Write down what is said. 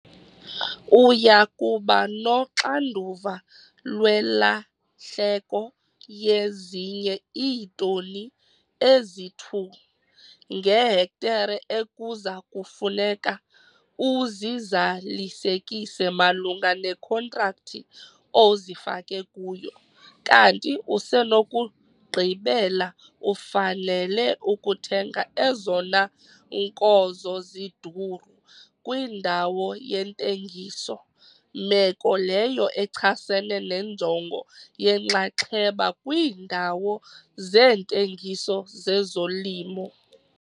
UYA KUBA noxanduva lwelahleko yezinye iitoni ezi-2 ngehektare ekuza kufuneka uzizalisekise malunga nekhontrakthi ozifake kuyo kanti usenokugqibela ufanele ukuthenga ezona nkozo ziduru kwindawo yentengiso - meko leyo echasene nenjongo yenxaxheba kwiindawo zeentengiso zezolimo.